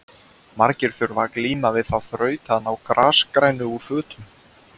margir þurfa að glíma við þá þraut að ná grasgrænu úr fötum